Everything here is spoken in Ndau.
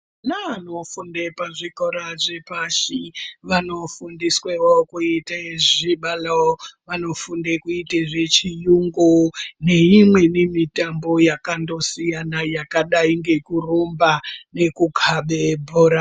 Vaanofunda pazvikora zvepashi vano fundiswawo kuita zvibalo vano fundazve kuita zviyungu neimweni mutambo yakangosiya yakadai ngekurumba nekukabe bhora